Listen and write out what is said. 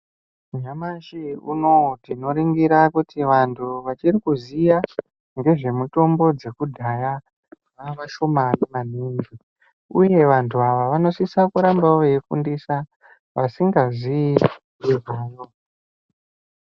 Nyamashi unowu tinoona kuti vantu vasiri kuziya nezvemitombo dzekudhaya vavashomani maningi uye vantu ava vanosisa kurambawo veifundisa vasingazivi nezvayo.